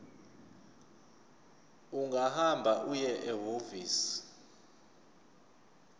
ungahamba uye ehhovisi